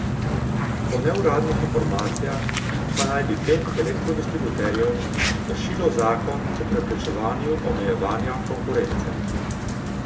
Po neuradnih informacijah pa naj bi pet elektrodistributerjev kršilo zakon o preprečevanju omejevanja konkurence.